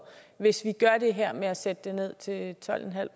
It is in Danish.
hvis man gør det her med at sætte momsen ned til tolv